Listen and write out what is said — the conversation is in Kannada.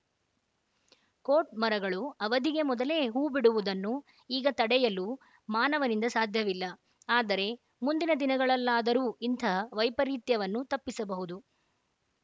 ಕೋಟ್‌ ಮರಗಳು ಅವಧಿಗೆ ಮೊದಲೇ ಹೂ ಬಿಡುವುದನ್ನು ಈಗ ತಡೆಯಲು ಮಾನವನಿಂದ ಸಾಧ್ಯವಿಲ್ಲ ಆದರೆ ಮುಂದಿನ ದಿನಗಳಲ್ಲಾದರೂ ಇಂಥ ವೈಪರೀತ್ಯವನ್ನು ತಪ್ಪಿಸಬಹುದು